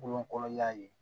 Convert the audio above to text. Golo kɔrɔla ye